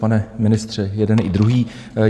Pane ministře - jeden i druhý.